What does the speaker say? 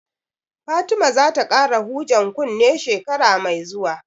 Fatima za ta ƙara hujen kunne shekara mai zuwa